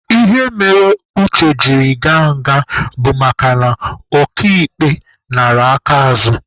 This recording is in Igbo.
Ihe mere Uche jiri gaa nga bụ makana oka ikpe nara aka azụ.